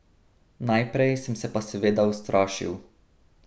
Najprej sem se pa seveda ustrašil.